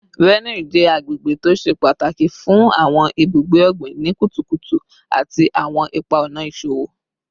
Benue jẹ agbegbe to ṣe pataki fun awọn ibugbe ogbin ni kutukutu ati awọn ipa-ọna iṣowo